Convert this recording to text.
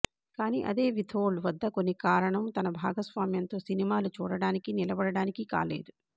కానీ అదే వితోల్డ్ వద్ద కొన్ని కారణం తన భాగస్వామ్యంతో సినిమాలు చూడటానికి నిలబడటానికి కాలేదు